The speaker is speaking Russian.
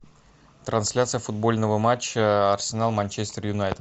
трансляция футбольного матча арсенал манчестер юнайтед